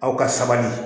Aw ka sabali